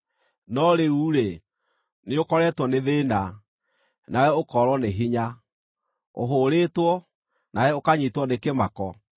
No rĩu-rĩ, nĩũkoretwo nĩ thĩĩna, nawe ũkoorwo nĩ hinya; ũhũũrĩtwo, nawe ũkanyiitwo nĩ kĩmako.